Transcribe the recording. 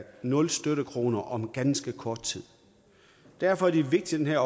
nul støttekroner om ganske kort tid derfor er det vigtigt at